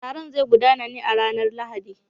Taron zai gudana ne a ranar Lahadi.